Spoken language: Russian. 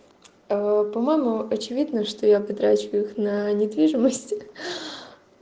по-моему очевидно что я потрачу их на недвижимость